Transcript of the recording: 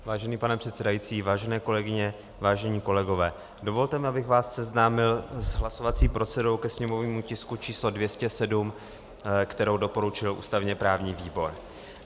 Vážený pane předsedající, vážené kolegyně, vážení kolegové, dovolte mi, abych vás seznámil s hlasovací procedurou ke sněmovnímu tisku číslo 207, kterou doporučil ústavně-právní výbor.